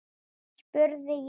spurði ég svo.